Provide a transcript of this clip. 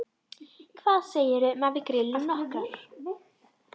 Hvað segirðu um að við grillum nokkrar?